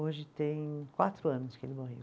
Hoje tem quatro anos que ele morreu.